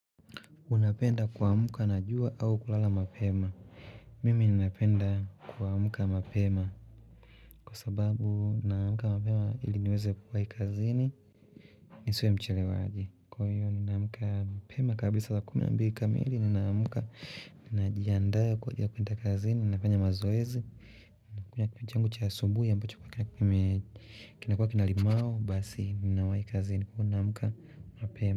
Unapenda kuamka na jua au kulala mapema. Mimi ninaapenda kuamka mapema. Kwa sababu ninaamka mapema ili niweze kuwai kazini. Nisiwe mchelewaji. Kwa hiyo ninaamka mapema kabla saa kumi na mbili kamili ninaamka ninajiandaa kwa ajili ya kwenda kazini. Ninafanya mazoezi. Nakunywa changu cha asubuhi ambacho kime kinakua kina limau basi ninawai kazini. Unaamka mapema.